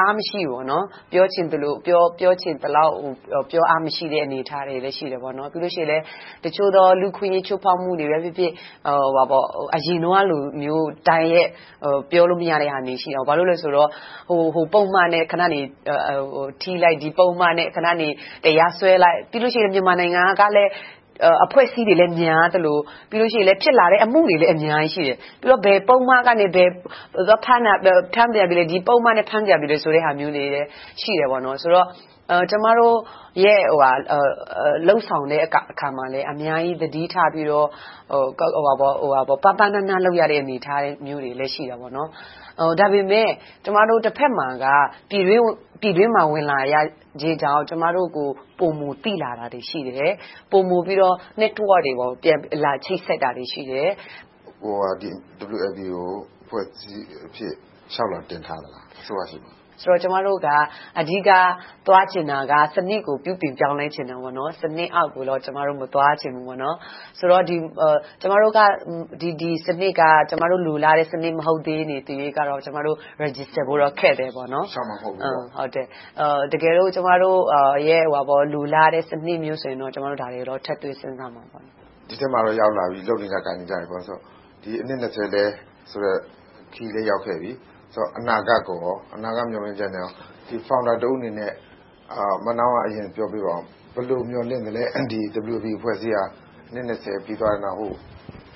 အားမရှိဘူး။ ပြောချင်သလောက် ပြောအားမရှိတဲ့ အနေအထားတွေလည်း ရှိတယ်။ ပြီးတော့ တချို့သော လူ့အခွင့်အရေး ချိုးဖောက်မှုတွေပဲဖြစ်ဖြစ် အရင်တုန်းကလို တိုက်ရိုက်ပြောလို့မရတာတွေ ရှိခဲ့တယ်။ ဘာဖြစ်လို့လဲဆိုတော့ ဟိုပုဒ်မနဲ့ထိလိုက်၊ ဒီပုဒ်မနဲ့ တရားစွဲလိုက်။ ခဏနေ မြန်မာနိုင်ငံမှာ အဖွဲ့အစည်းတွေကလည်း များသလို၊ ပြီးတော့ ဖြစ်လာတဲ့ အမှုတွေလည်း အများကြီးရှိတယ်။ ပြီးတော့ ဘယ်ပုဒ်မကနေ ဖမ်းပြန်ပြီ၊ ဒီပုဒ်မနဲ့ ဖမ်းပြန်ပြီဆိုတဲ့ ဟာမျိုးတွေလည်း ရှိတယ်ဆိုတော့ ကျမတို့ လုပ်ဆောင်တဲ့အခါမှာလဲ အများကြီးသတိထားပြီးတော့ ပါးပါးနပ်နပ် လုပ်ရတဲ့ အနေအထားမျိုးတွေလည်း ရှိပါတယ်။ ဒါပေမဲ့ တဘက်မှာက ပြည်တွင်းကို ဝင်လာခြင်းကြောင့် ကျမတို့ကို ပိုမိုသိလာတာတွေ ရှိတယ်။ ပိုမိုပြီးတော့ Network တွေ လာပြီးတော့ ချိတ်ဆက်တာတွေ ရှိတယ်။ မေး ။ ။ WLB ကို အဖွဲ့အစည်းအဖြစ် လျှောက်လွှာတင်ထားသလား။ အစိုးရဆီမှာ။ ဖြေ ။ ။ ကျမတို့က အဓိကသွားချင်တာက စနစ်ကို ပြုပြင်ပြောင်းလဲချင်တာ။ စနစ်အောက်ကိုတော့ ကျမတို့ မသွားချင်ဘူး။ ဆိုတော့ ဒီစနစ်က ကျမတို့ လိုလားတဲ့ စနစ်မဟုတ်သရွေ့ကတော့ ကျမတို့ မှတ်ပုံတင်ဖို့ ခက်နေသေးတယ်။ တကယ်လို့ ကျမတို့ လိုလားတဲ့ စနစ်မျိုးဆိုရင်တော့ ဒါတွေကို ထည့်သွင်းစဉ်းစားသွားပါမယ်။ မေး ။ ။ ဒီထဲမှာတော့ ရောက်လာပြီ၊ လုပ်နေကိုင်နေကြပြီဆိုတော့ အနှစ် ခရီးလည်း ရောက်ခဲ့ပြီ။ အနာဂတ်မျှော်လင့်ချက်ကို Founder တဦးအနေနဲ့ ဦးစွာပြောပေးပါအုံး။ ဘယ်လို မျှော်လင့်သလဲ။ WLB အဖွဲ့အစည်းဟာ အနှစ် ပြီးသွားတဲ့နောက်